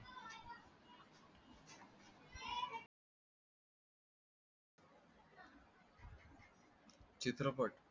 चित्रपट